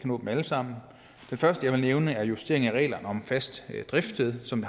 nå dem alle sammen det første jeg vil nævne er justeringen af reglerne om fast driftssted som